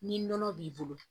Ni nɔnɔ b'i bolo